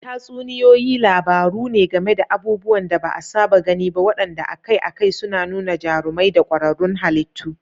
Tatsuniyoyi labaru ne game da abubuwan da ba a saba gani ba waɗanda akai-akai suna nuna jarumai da ƙwararrun halittu.